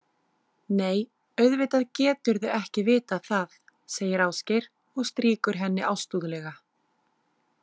Nei, auðvitað geturðu ekki vitað það, segir Ásgeir og strýkur henni ástúðlega.